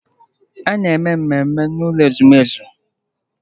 A na-eme mmemme n'ụlọ ezumezu.